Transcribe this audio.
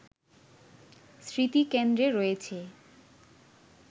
স্মৃতিকেন্দ্রে রয়েছে